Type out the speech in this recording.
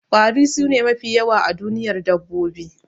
kwari sune mafi yawa a duniyar dabbabi